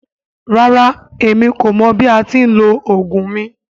Rara, emi ko mọ bi a ti ni lo ogun mi.